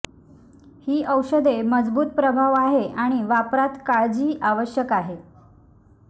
ही औषधे मजबूत प्रभाव आहे आणि वापरात काळजी आवश्यक आहे